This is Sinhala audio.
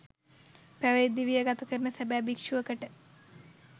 පැවිදි දිවිය ගත කරන සැබෑ භික්‍ෂුවකට